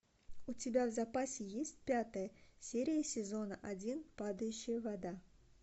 у тебя в запасе есть пятая серия сезона один падающая вода